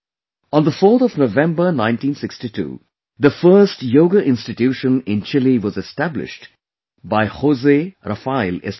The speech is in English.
On 4th of November 1962, the first Yoga institution in Chile was established by José Rafael Estrada